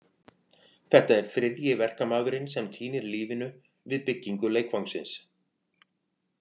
Þetta er þriðji verkamaðurinn sem týnir lífinu við byggingu leikvangsins.